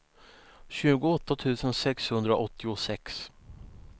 tjugoåtta tusen sexhundraåttiosex